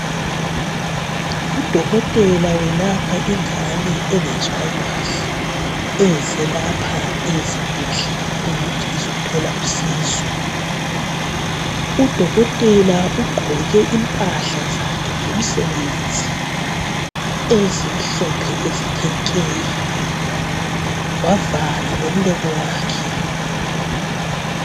Udokotela welapha ingane engezwa kahle eze lapha esibhedlela ukuthi izothola usizo. Udokotela ugqoke impahla zakhe zomsebenzi ezimhophe ezithe nke, wavala lomlomo wakhe.